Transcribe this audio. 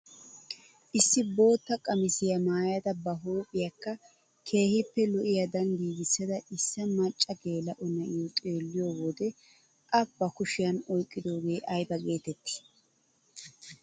Issi bootta qamisiyaa maayada ba huuphphiyaakka keehippe lo"iyaadan giigissida issi macca geela'o na'iyoo xeelliyoo wode a ba kushiyaan oyqqidoogee ayba getettii?